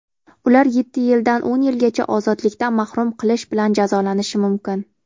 ular yetti yildan o‘n yilgacha ozodlikdan mahrum qilish bilan jazolanishi mumkin.